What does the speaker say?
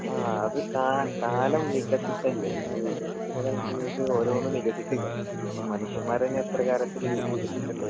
ആ അത് കാ കാലം വികസിക്കല്ലേ അപ്പൊ വികസിക്കുന്നതനുസരിച്ചിട്ട് ഓരോന്നും വികസിക്കണ്ടേ ഇപ്പൊ മനുഷ്യന്മാരെന്നെ എത്ര തരത്തില് വികസിക്കിണ്ട്.